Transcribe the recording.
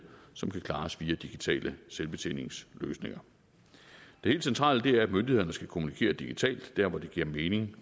som kan klares via digitale selvbetjeningsløsninger det helt centrale er at myndighederne skal kommunikere digitalt der hvor det giver mening